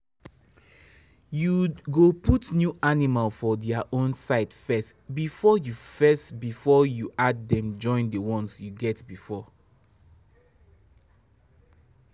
you go put new animal for their own side first before you first before you add den join the ones you get before